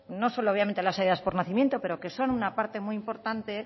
no solo obviamente las ayudas por nacimiento pero que son una parte muy importante